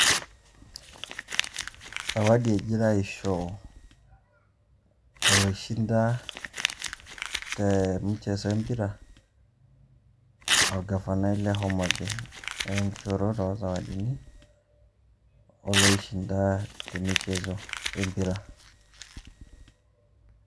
Sawadi ejita ashoo olshindaa te micheso e mpiraa o gafanai le Homa Bay. Eeta enkishoroto o sawadini olshindaa te micheso e mpiraa.